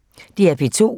DR P2